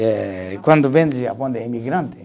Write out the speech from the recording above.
Eh, e quando vem japonês imigrante